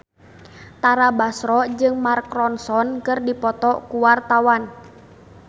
Tara Basro jeung Mark Ronson keur dipoto ku wartawan